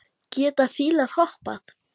Geta fílar hoppað?